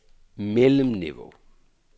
mellemniveau